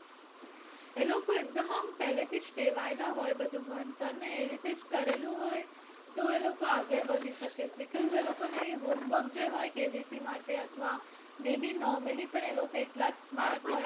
એ લોકો એકદમ આમ પેહલે થી જ ટેવાયેલા હોય છે બધુ ભણતર ને એ રીતે જ કરેલું હોય છે તો એ લોકો આગળ વધી શકે because એ લોકો ને home work જે હોય KBC માટે અથવા may be normaly પણ એ લોકો એટલા જ smart હોય